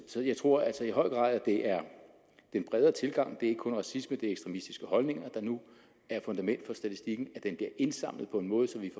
så jeg tror at det i høj grad er den bredere tilgang det er ikke kun racisme det er ekstremistiske holdninger der nu er fundament for statistikken og at den bliver indsamlet på en måde så vi